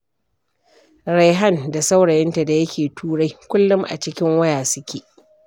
Raihan da saurayinta da yake Turai kullum a cikin waya suke.